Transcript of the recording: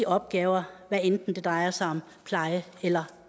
opgaver hvad enten det drejer sig om pleje eller